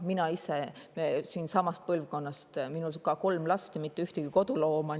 Mina ise olen ka samast põlvkonnast, minul on kolm last ja mitte ühtegi kodulooma.